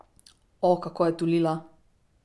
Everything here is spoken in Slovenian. O, kako je tulila!